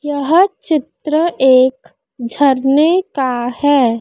यह चित्र एक झरने का है।